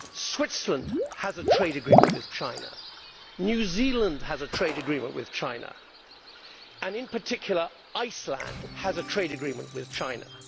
Switzerland has a trade agreement with China, New Zealand has a trade agreement with China, and in particular Iceland has a trade agreement with China.